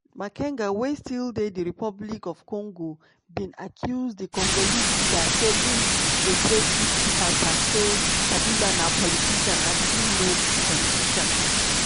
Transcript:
makenga wey still dey dr congo bin accuse di congolese leader say im betray tutsi fighters say: "kabila na politician and i no be politician.